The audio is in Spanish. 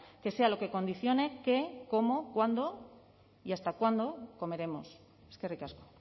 que sea lo que condicione qué cómo cuándo y hasta cuándo comeremos eskerrik asko